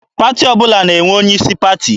Pati ọbụla na-enwe onye isi pati.